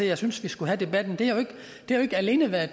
jeg synes vi skulle have debatten har jo ikke alene været